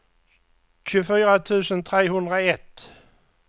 tjugofyra tusen trehundraett